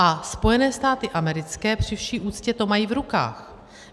A Spojené státy americké při vší úctě to mají v rukách.